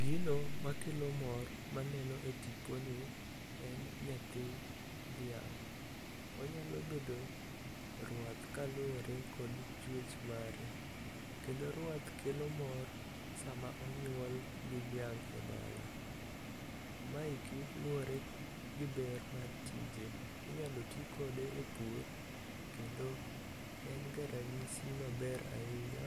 Gino makelo mor maneno e tiponi, en nyathi dhiang'. Onyalo bedo ruath kaluwore kod chuech mare. Kendo ruath kelo mor sama onyuol gi dhiang' e dala. Maeki luwore gi ber mar tije, inyalo ti kode e pur, kendo en ga ranyisi maber ahinya